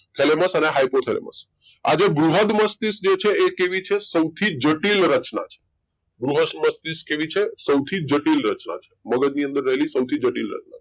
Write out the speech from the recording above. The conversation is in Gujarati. thalamus અને hypothalamus આ જે બૃહદ મસ્તિષ્ક જે છે એ કેવી છે સૌથી જટિલ રચના છે બૃહદ મસ્તિષ્ક કેવી છે સૌથી જટિલ રચના છે મગજ ની અંદર રહેલી સૌથી જટિલ રચના છે